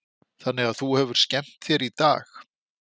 Þannig að þú hefur skemmt þér í dag?